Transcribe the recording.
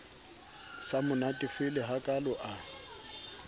sa mo natefele hakalo a